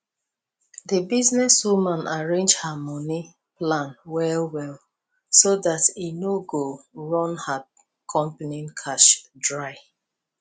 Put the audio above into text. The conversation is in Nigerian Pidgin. di business woman arrange her money plan well well so dat e no go run her company cash dry